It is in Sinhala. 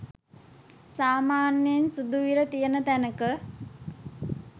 සාමාන්‍යයෙන් සුදු ඉර තියෙන තැනක